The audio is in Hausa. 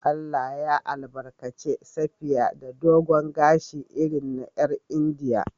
Allah ya albarkace Safiya da dogon gashi irin na 'yar Indiya.